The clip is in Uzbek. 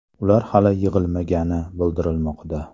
Ular hali yig‘ilmagani bildirilmoqda.